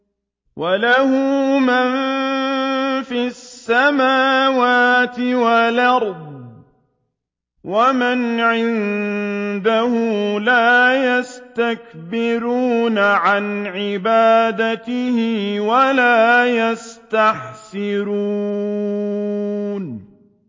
وَلَهُ مَن فِي السَّمَاوَاتِ وَالْأَرْضِ ۚ وَمَنْ عِندَهُ لَا يَسْتَكْبِرُونَ عَنْ عِبَادَتِهِ وَلَا يَسْتَحْسِرُونَ